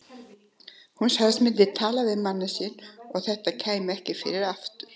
Hún sagðist myndu tala við manninn sinn og að þetta kæmi ekki fyrir aftur.